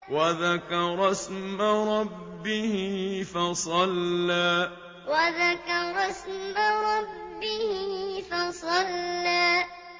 وَذَكَرَ اسْمَ رَبِّهِ فَصَلَّىٰ وَذَكَرَ اسْمَ رَبِّهِ فَصَلَّىٰ